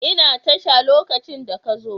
Ina tasha lokacin da ka zo.